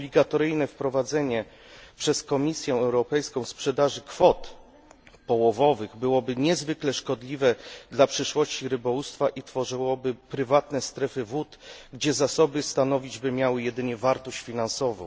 Obligatoryjne wprowadzenie przez Komisję Europejską sprzedaży kwot połowowych byłoby niezwykle szkodliwe dla przyszłości rybołówstwa i tworzyłoby prywatne strefy wód, gdzie zasoby stanowić by miały jedynie wartość finansową.